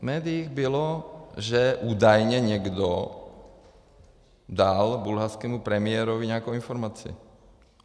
V médiích bylo, že údajně někdo dal bulharskému premiérovi nějakou informaci.